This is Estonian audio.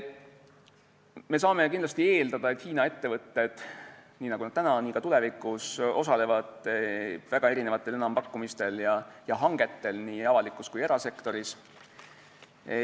Me saame kindlasti eeldada, et Hiina ettevõtted nii nagu täna, nii ka tulevikus osalevad väga erinevatel enampakkumistel ja hangetel nii avalikus kui ka erasektoris.